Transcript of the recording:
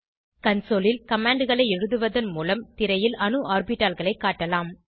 consoleல் command களை எழுதுவதன் மூலம் திரையில் அணு ஆர்பிட்டால்களை காட்டலாம்